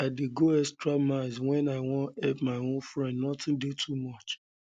i dey go extra miles wen i wan help my friends notin dey too much